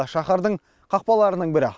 шаһардың қақпаларының бірі